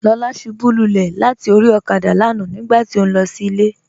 Lọla ṣúbú lúlẹ̀ látì orí òkádà lánà nígbàtí ó nlọ sí ilẹ̀.